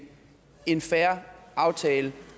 en fair aftale